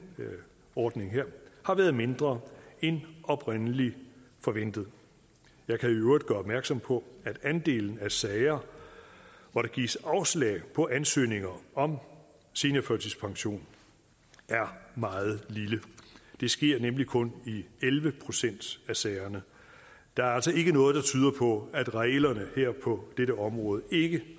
ordning her har været mindre end oprindelig forventet jeg kan i øvrigt gøre opmærksom på at andelen af sager hvor der gives afslag på ansøgninger om seniorførtidspension er meget lille det sker nemlig kun i elleve procent af sagerne der er altså ikke noget der tyder på at reglerne her på dette område ikke